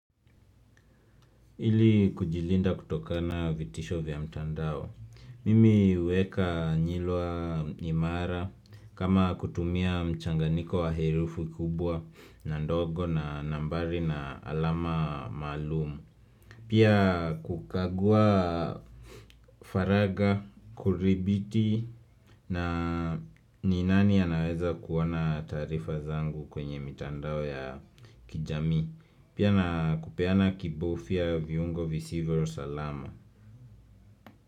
Ili kujilinda kutokana vitisho vya mtandao. Mimi huweka nyilwa imara kama kutumia mchanganiko wa herufi kubwa na ndogo na nambari na alama maalum. Pia kukagua faragha, kuthibiti na ni nani anaweza kuona taarifa zangu kwenye mitandao ya kijamii Pia na kupeana kibufya viungo visivyo salama.